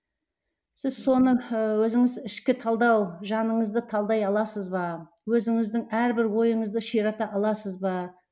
сіз соны ы өзіңіз ішкі талдау жаныңызды талдай аласыз ба өзіңіздің әрбір ойыңызды ширата аласыз ба